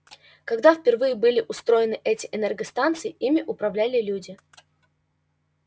когда впервые были устроены эти энергостанции ими управляли люди